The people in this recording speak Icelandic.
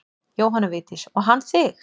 Jóhanna Vigdís: Og hann þig?